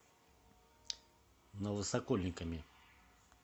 новосокольниками